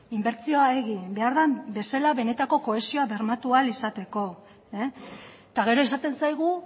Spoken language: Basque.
inbertsioa egin behar den bezala benetako kohesioa bermatu ahal izateko eta gero esaten zaigu